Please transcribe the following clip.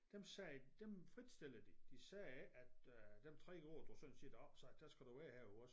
Dem sagde dem fritstillede de sagde ikke at øh de 3 år du sådan set er opsagt der skal du være her ved os